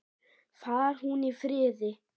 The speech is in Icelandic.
Far hún í friði.